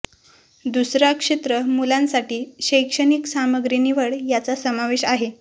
दुसरा क्षेत्र मुलांसाठी शैक्षणिक सामग्री निवड यांचा समावेश आहे